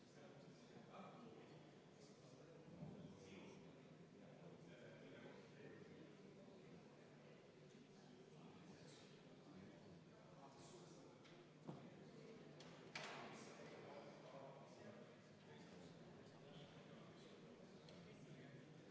Ja juba jõuaksime peaaegu teise lugemise lõpetada, ent meil on EKRE fraktsiooni ettepanek teine lugemine katkestada ja meil on ka keskfraktsiooni ettepanek teine lugemine katkestada.